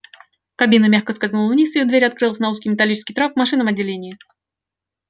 кабина мягко скользнула вниз и её дверь открылась на узкий металлический трап в машинном отделении